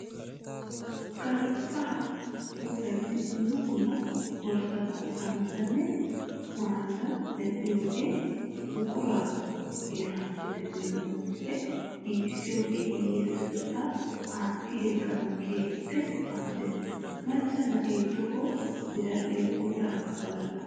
Galbbaa puulayidi dumma dumma borssata, caammatanne maayota medhdhiyoge buquraa heeraappe beettiyabatuppe giigissiyoge hiyyasetettaa aatti yegganawu keeppe maaddees. Macca na'ee toho biradhdhiya puulaykka wallalla.